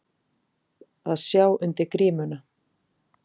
Að sjá undir grímuna